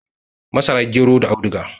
Masara, gero da audiga.